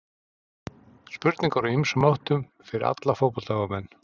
Spurningar úr ýmsum áttum fyrir alla fótboltaáhugamenn.